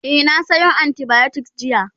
e na Sayo antibiotics jiya